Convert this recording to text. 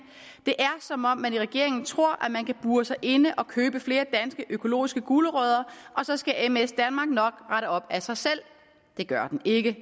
det er som om man i regeringen tror at man kan bure sig inde og købe flere danske økologiske gulerødder og så skal ms danmark nok rette op af sig selv det gør den ikke